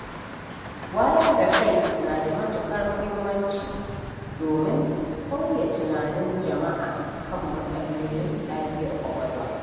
Wayar da kai na da matuƙar muhimmanci domin sauya tunanin jama’a kan matsalolin lafiyar ƙwaƙwalwa.